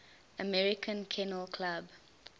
american kennel club